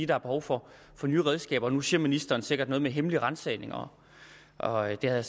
der er behov for nye redskaber nu siger ministeren sikkert noget med hemmelige ransagninger og det havde